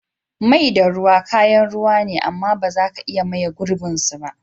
Mai da ruwa kayan ruwa ne, amm ba za ka iya maye girbin su ba.